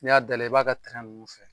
N'i y'a dayɛlɛ, i b'a ka nunnu fɛ